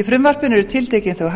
í frumvarpinu eru tiltekin þau